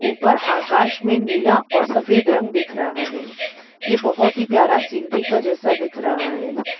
ऊपर आकाश में नीला और सफेद रंग दिख रहा है ये बहुत ही प्यारा शिनरी का जैसा दिख रहा है।